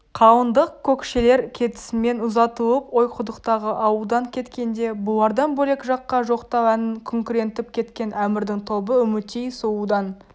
қалыңдық көкшелер кетісімен ұзатылып ойқұдықтағы ауылдан кеткенде бұлардан бөлек жаққа жоқтау әнін күңрентіп кеткен әмірдің тобы үмітей сұлудан